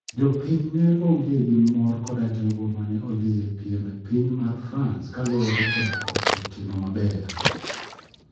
Jopiny ne ong'e gi mor koda jogo mane odhi e piem e piny mar France kaluwore koda koso timo maber